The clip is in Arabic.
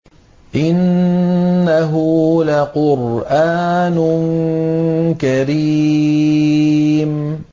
إِنَّهُ لَقُرْآنٌ كَرِيمٌ